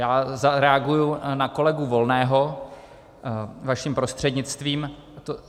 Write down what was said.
Já zareaguji na kolegu Volného vaším prostřednictvím.